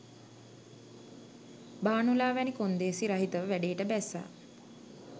භානුලා වැනි කොන්දේසි රහිතව වැඩේට බැස්ස